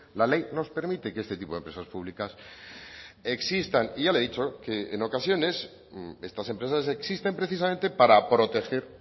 la ley nos permite que este tipo de empresas públicas existan y ya le he dicho que en ocasiones estas empresas existen precisamente para proteger